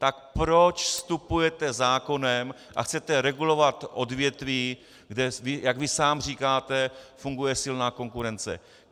Tak proč vstupujete zákonem a chcete regulovat odvětví, kde jak vy sám říkáte, funguje silná konkurence?